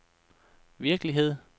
virkelighed